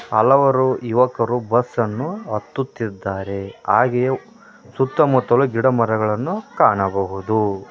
ಹಲವಾರು ಯುವಕರು ಬಸ್ಸನ್ನು ಹತ್ತುತ್ತಿದ್ದಾರೆ ಹಾಗೆಯೇ ಸುತ್ತಮುತ್ತಲು ಗಿಡ ಮರಗಳನ್ನು ಕಾಣಬಹುದು.